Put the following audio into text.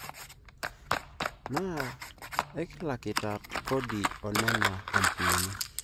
Na ikilakita kodi oo nena ampunini.